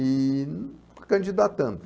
E candidatando.